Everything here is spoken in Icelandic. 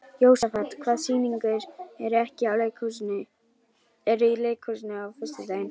Jósafat, hvaða sýningar eru í leikhúsinu á föstudaginn?